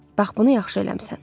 Bax bunu yaxşı eləmisən.